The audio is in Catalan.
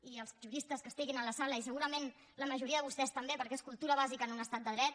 i els juristes que estiguin a la sala i segurament la majoria de vostès també perquè és cultura bàsica en un estat de dret